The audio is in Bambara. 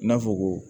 I n'a fɔ ko